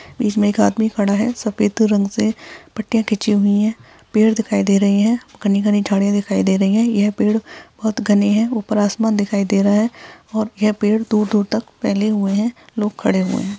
इसमें एक आदमी खड़ा है सफ़ेद रंग से पट्टियां खींची हुई है पेड़ दिखाई दे रही है घनी घनी झाड़े दिखाई दे रहे है या पेड़ बहुत घने है ऊपर आसमान दिखाई दे रहा है और या पेड़ दूर दूर तक फैले हुए है लोग खड़े है।